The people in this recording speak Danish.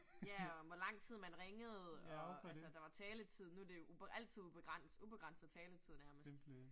Ja, og hvor lang tid man ringede, og altså der var taletid nu det jo altid ubegrænset taletid nærmest